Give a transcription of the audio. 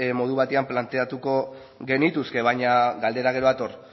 modu batean planteatuko genituzke baina galdera gero dator